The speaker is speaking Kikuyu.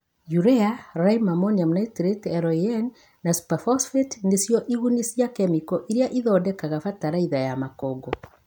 Urea, lime-ammonium nitrate (LAN) na superphosphate nĩcio iguni cia kemiko iria ithondekaga bataraitha ya makongo